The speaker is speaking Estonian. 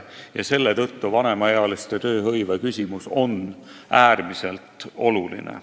Ja selle tõttu on vanemaealiste tööhõive äärmiselt oluline.